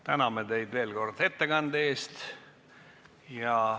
Täname teid veel kord ettekande eest.